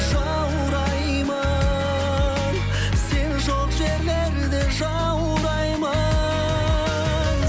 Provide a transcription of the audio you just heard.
жаураймын сен жоқ жерлерде жаураймын